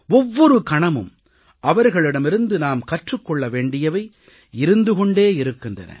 ஒவ்வொரு கணமும் அவர்களிடமிருந்து நாம் கற்றுக் கொள்ள வேண்டியவை இருந்து கொண்டே இருக்கின்றன